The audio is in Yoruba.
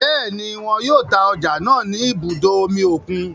Bẹẹni, wọn yóò ta ọja náà ni ibùdó omí okùn